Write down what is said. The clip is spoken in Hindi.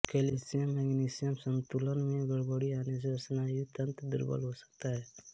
कैल्शियममैग्नेशियम सन्तुलन में गड़बड़ी आने से स्नायुतंत्र दुर्बल हो सकता है